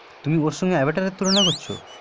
তুমি ওর সঙ্গে অ্যাভাটারের তুলনা করছো